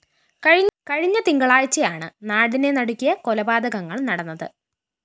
കഴിഞ്ഞ തിങ്കളാഴ്ചയാണ് നാടിനെ നടുക്കിയ കൊലപാതകങ്ങള്‍ നടന്നത്